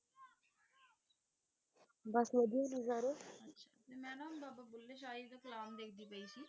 ਬਾਸ ਵਾਦਿਯ ਨੇ ਸਾਰੇ ਮੈਂ ਨਾ ਬਾਬਾ ਬੁਲ੍ਹੇ ਸ਼ਾਹ ਦਾ ਏਇਕ ਕਲਾਮ ਦੇਖਦੀ ਪੈ ਸੀ